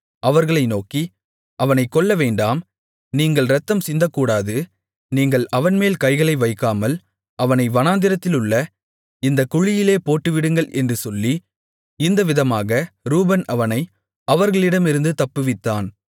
அவர்களை நோக்கி அவனைக் கொல்லவேண்டாம் நீங்கள் இரத்தம் சிந்தக்கூடாது நீங்கள் அவன்மேல் கைகளை வைக்காமல் அவனை வனாந்திரத்திலுள்ள இந்தக் குழியிலே போட்டுவிடுங்கள் என்று சொல்லி இந்த விதமாக ரூபன் அவனை அவர்களிடமிருந்து தப்புவித்தான்